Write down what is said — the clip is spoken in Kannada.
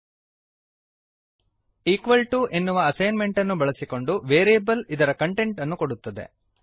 ಇಕ್ವಾಲ್ ಟಿಒ ಈಕ್ವಲ್ ಟು ಎನ್ನುವ ಅಸೈನ್ ಮೆಂಟ್ ಅನ್ನು ಬಳಸಿಕೊಂಡು ವೇರಿಯೇಬಲ್ ಇದರ ಕಂಟೆಂಟ್ ಅನ್ನು ಕೊಡುತ್ತದೆ